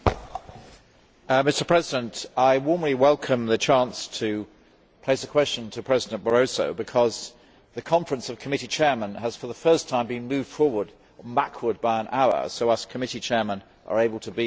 Mr President, I warmly welcome the chance to put a question to President Barroso because the Conference of Committee Chairs has, for the first time, been moved backward by an hour so we committee chairmen are able to be here for the first time.